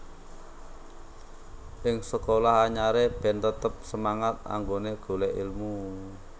Ing sekolah anyare ben tetep semangat anggone golek elmu